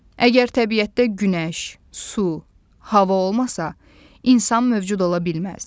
Əgər təbiətdə günəş, su, hava olmasa, insan mövcud ola bilməz.